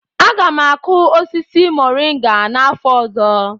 Aga m akụ osisi moringa n'afọ ọzọ